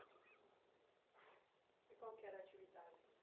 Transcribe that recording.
E qual que era atividade